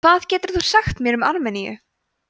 hvað getur þú sagt mér um armeníu